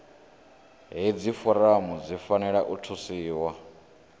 hedzi foramu dzi fanela u thusiwa